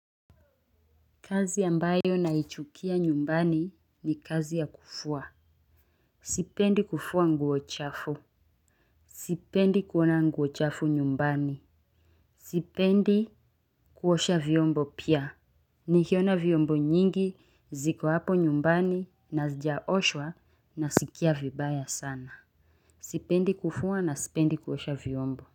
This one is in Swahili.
Kazi ambayo naichukia nyumbani ni kazi ya kufua. Sipendi kufua nguo chafu. Sipendi kuona nguo chafu nyumbani. Sipendi kuosha vyombo pia. Nikiona vyombo nyingi ziko hapo nyumbani na zijaoshwa na sikia vibaya sana. Sipendi kufua na sipendi kuosha vyombo.